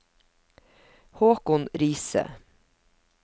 Haakon Riise